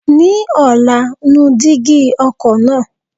Ní ọ̀la, nu dígí ọkọ̀ náà.